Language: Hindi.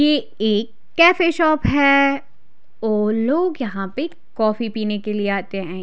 यह एक कैफ़े शॉप है और लोग यहाँ पर कॉफ़ी पिने के लिए आते है।